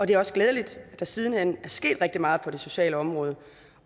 det er også glædeligt at der siden hen er sket rigtig meget på det sociale område